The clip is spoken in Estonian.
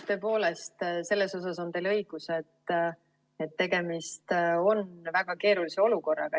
Tõepoolest, selles on teil õigus, et tegemist on väga keerulise olukorraga.